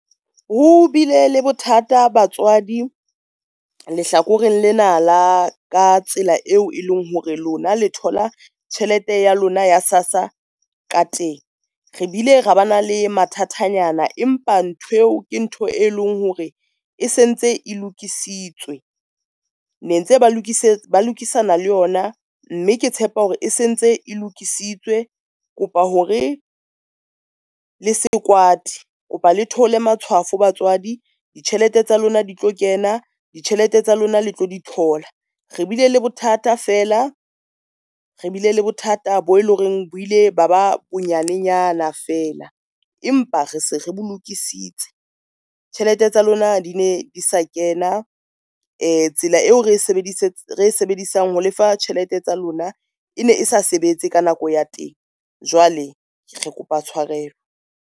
Ho bile le bothata batswadi lehlakoreng lena la ka tsela eo e leng hore lona le thola tjhelete ya lona ya SASSA ka teng. Re bile ra ba na le mathatanyana empa ntho eo ke ntho e leng hore e sentse e lokisitswe, ne ntse ba lokisana le yona mme ke tshepa hore e sentse e lokisitswe. Kopa hore le se kwate kopa le theolle matshwafo batswadi ditjhelete tsa lona di tlo kena. Ditjhelete tsa lona le tlo di thola, re bile le bothata fela re bile le bothata bo e le horeng buile ba ba bonyanenyana fela, empa re se re bo lokisitswe. Tjhelete tsa lona di ne di sa kena tsela eo re sebedisang ho lefa tjhelete tsa lona, ene e sa sebetse ka nako ya teng jwale re kopa tshwarelo.